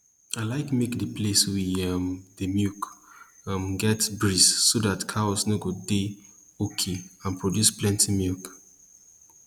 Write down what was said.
i like make the place we um dey milk um get breeze so that the cows go dey okay and produce plenti milk